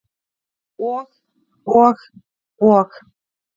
Og, og og.